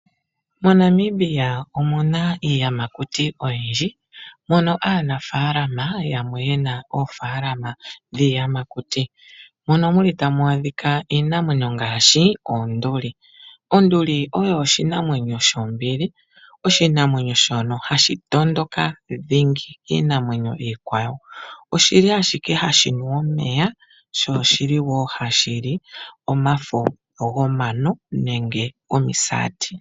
MoNamibia omuna iiyamakuti oyindji mono aanafalama yamwe yena oofaalama dhiiyamakuti. Ohamu adhika iinamwenyo ngaashi oonduli, onduli oyo oshinanwenyo shombili, oshinanwenyo shono hashi tondoka dhingi kiinamwenyo iikwawo. Oshi li hashinu omeya tashili omafo gomisati.